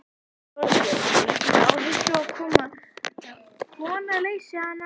Þorbjörn: Leggurðu áherslu á að kona leysi hana af hólmi?